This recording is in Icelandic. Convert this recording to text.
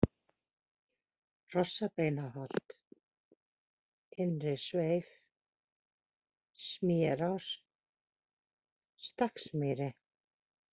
Hrossabeinsholt, Innri-Sveif, Smérás, Stakksmýri